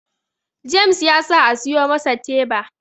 James ya sa a siyo masa teba